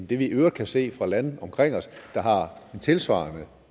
det vi i øvrigt kan se fra lande omkring os der har en tilsvarende